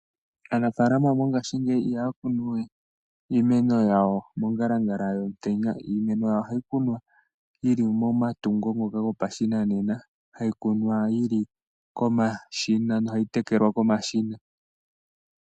Aanafaalama mongashingeyi ihaya kunu we iimeno yawo mongalangala yomutenya .Iimeno yawo ohayi kunwa yili momatungo ngoka gopashinane hayi kunwa yili komashina nohayi tekelwa komashina.